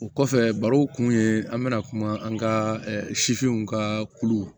O kɔfɛ barow kun ye an bɛna kuma an ka sifinw ka kulu